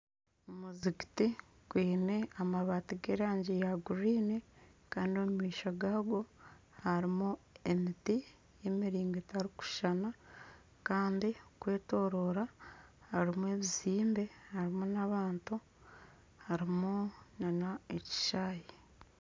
Omuzigiti gwine amabaati g'erangi ya kinyatsi Kandi omu maisho gaago harimu emiti y'emiringo etarikushushana Kandi okwetoroora harimu ebizimbe harimu n'abantu harimu n'ekishaayi